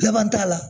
Laban t'a la